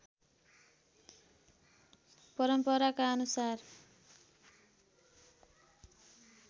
परम्पराका अनुसार